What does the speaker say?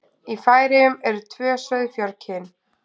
Í Færeyjum eru tvö sauðfjárkyn.